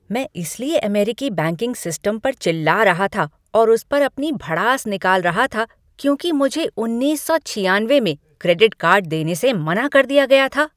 मैं इसलिए अमेरिकी बैंकिंग सिस्टम पर चिल्ला रहा था और उस पर अपनी भड़ास निकाल रहा था क्योंकि मुझे उन्नीस सौ छियानवे में क्रेडिट कार्ड देने से मना कर दिया गया था।